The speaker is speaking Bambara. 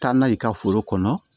Taa n'a ye ka foro kɔnɔ